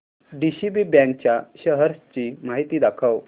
DCB bank च्या shares ची माहिती दाखव